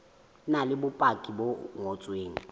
na le bopaki bo ngotsweng